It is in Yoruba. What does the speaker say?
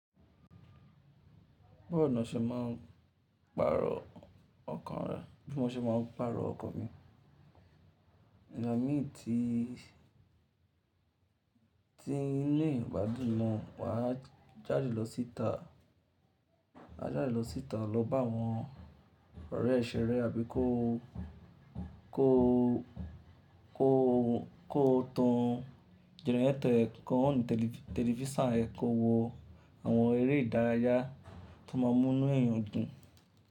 Báwo ni ọ́ ṣe má a pàrọ̀ ọkàn rẹ, bí mo ṣe má n pàrọ̀ ọkan mi? Ẹ̀là mí tí ilé ìwádìí náà wà jáde lọ síta lọ bá wọn ọ̀rẹ́ e ṣeré àbí kó tan generator ẹ̀ kọ́ on tẹlifísàn ẹ kó wo àwọn eré ìdárayá tó máa múnú èèyàn dùn.